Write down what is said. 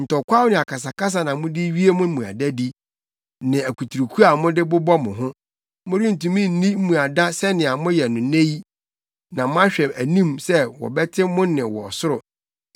Ntɔkwaw ne akasakasa na mode wie mo mmuadadi, ne akuturuku a mode bobɔ mo ho. Morentumi nni mmuada sɛnea moyɛ no nnɛ yi na moahwɛ anim sɛ wɔbɛte mo nne wɔ ɔsoro.